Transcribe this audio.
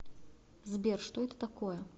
сбер что это такое